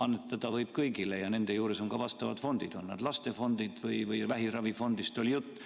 Annetada võib kõigile ja nende juures on ka vastavad fondid, näiteks lastefond või vähiravifond, millest siin jutt oli.